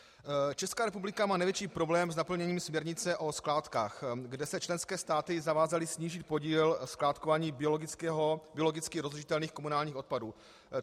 Česká republika má největší problém s naplněním směrnice o skládkách, kde se členské státy zavázaly snížit podíl skládkování biologicky rozložitelných komunálních odpadů.